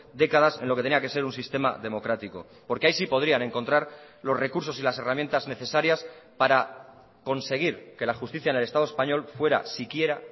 décadas en lo que tenía que ser un sistema democrático porque ahí sí podrían encontrar los recursos y las herramientas necesarias para conseguir que la justicia en el estado español fuera siquiera